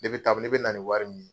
Ne bɛ ta ne bɛ na ni wari min ye